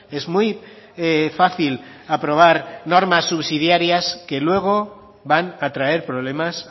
es muy fácil aprobar normas subsidiarias que luego van a traer problemas